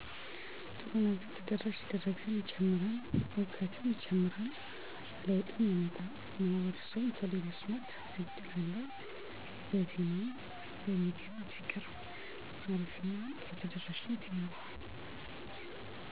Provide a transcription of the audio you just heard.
ማሽነሪዎች በሚታወቁ ሰዎች እና ደላሎች ሶሻልሚድያን በመጠቀም